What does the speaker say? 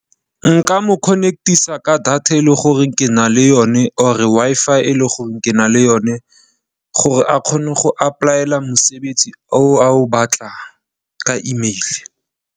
Nka mo connect-isa ka data e leng gore ke na le yone or Wi-Fi e leng gore ke na le yone gore a kgone go apply-ela mosebetsi o a o batlang ka emeile.